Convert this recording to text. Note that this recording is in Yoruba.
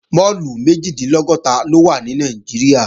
Máàlù méjìdínlọ́gọ́ta ló wà ní Nàìjíríà